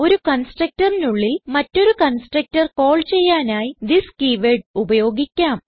ഒരു constructorനുള്ളിൽ മറ്റൊരു കൺസ്ട്രക്ടർ കാൾ ചെയ്യാനായി തിസ് കീവേർഡ് ഉപയോഗിക്കാം